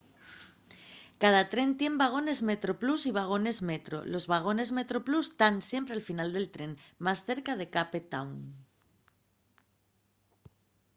cada tren tien vagones metroplus y vagones metro los vagones metroplus tán siempre al final del tren más cerca de cape town